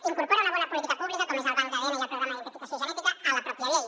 incorpora una bona política pública com el banc d’adn i el programa d’identificació genètica a la pròpia llei